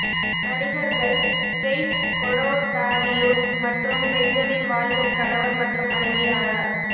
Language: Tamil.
நடிகர்கள் கெய் ஸ்கொடொடாரியோ மற்றும் பெஞ்சமின் வால்கர் கணவர் மற்றும் மனைவி ஆனார்